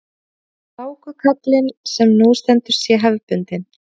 Hlákukaflinn sem nú stendur sé hefðbundinn